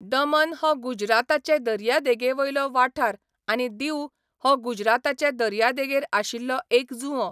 दमन हो गुजराताचे दर्यादेगेवयलो वाठार आनी दीऊ हो गुजराताचे दर्यादेगेर आशिल्लो एक जुंवो.